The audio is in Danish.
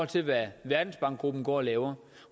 til hvad verdensbankgruppen går og laver